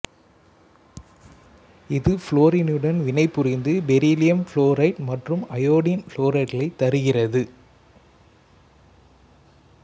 இது புளோரினுடன் வினைபுரிந்து பெரிலியம் புளோரைடு மற்றும் அயோடினின் புளோரைடுகளைத் தருகிறது